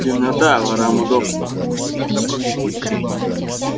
темнота ворам удобство